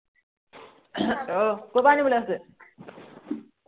আহ কৰ পৰা আনিবলে গৈছে?